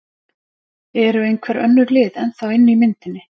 Eru einhver önnur lið ennþá inni í myndinni?